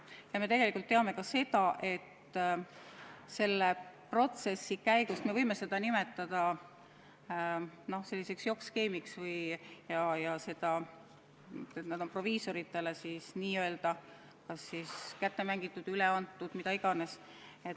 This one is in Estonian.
Ja me teame ka seda, et protsessi käigus – me võime seda nimetada selliseks jokk-skeemiks – on apteegid proviisoritele kas kätte mängitud, üle antud või mida iganes.